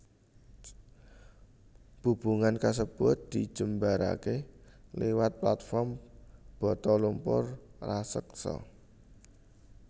Bubungan kasebut dijembaraké liwat platform bata lumpur raseksa